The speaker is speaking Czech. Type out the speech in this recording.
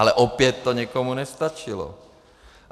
Ale opět to někomu nestačilo.